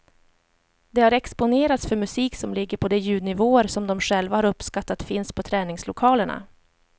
De har exponerats för musik som ligger på de ljudnivåer som de själva har uppskattat finns på träningslokalerna.